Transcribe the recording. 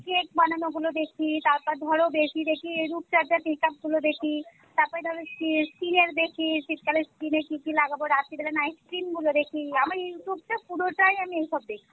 cake বানানো গুলো দেখি তারপর ধর বেশি দেখি এই রুপচর্চা make-up গুলো দেখি তারপর ধর skin এর দেখি শীতকালে skin এ কী কী লাগাবো রাত্রি বেলা night cream গুলো দেখি আমার Youtube টা পুরো টাই আমি এইসব দেখি।